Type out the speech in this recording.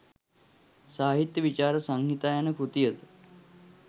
සාහිත්‍ය විචාර සංහිතා යන කෘති ද